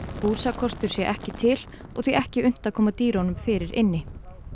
húsakostur sé ekki til og því ekki unnt að koma dýrunum fyrir inni